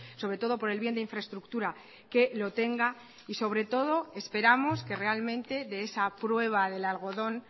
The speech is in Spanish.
sobretodo por el bien de infraestructura que lo tenga y sobretodo esperamos que realmente de esa prueba del algodón